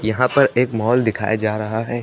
यहां पर एक मॉल दिखाया जा रहा है।